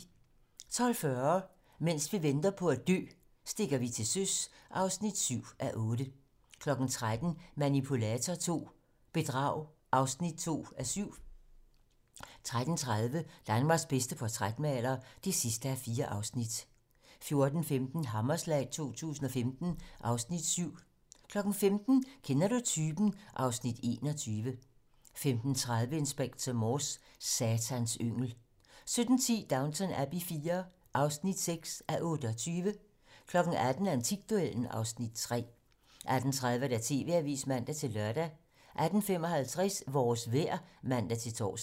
12:40: Mens vi venter på at dø - stikker vi til søs (7:8) 13:00: Manipulator II - bedrag (2:7) 13:30: Danmarks bedste portrætmaler (4:4) 14:15: Hammerslag 2015 (Afs. 7) 15:00: Kender du typen? (Afs. 21) 15:30: Inspector Morse: Satans yngel 17:10: Downton Abbey IV (6:28) 18:00: Antikduellen (Afs. 3) 18:30: TV-Avisen (man-lør) 18:55: Vores vejr (man-tor)